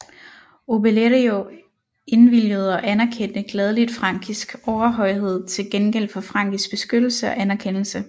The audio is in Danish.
Obelerio indvilgede og anerkendte gladeligt frankisk overhøjhed til gengæld for frankisk beskyttelse og anerkendelse